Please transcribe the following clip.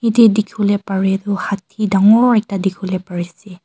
Ete dekhevole pare hathi dangor ekta dekhevole pare.